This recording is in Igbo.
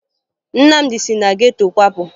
Nnamdị si na geto kwapụ